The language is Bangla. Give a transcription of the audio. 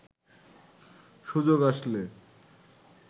সুযোগ আসলে